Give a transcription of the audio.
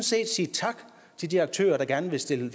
set sige tak til de aktører der gerne vil stille